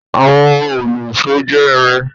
Àwọn òlu-ìsó jẹ́ irin.